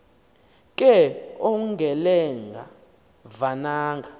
ke ongelenga vananga